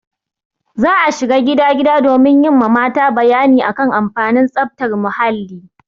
Za a shiga gida gida domin yi ma mata bayani a kan amfanin tsaftar muhalli.